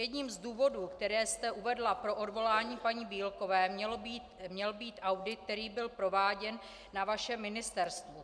Jedním z důvodů, které jste uvedla pro odvolání paní Bílkové, měl být audit, který byl prováděn na vašem ministerstvu.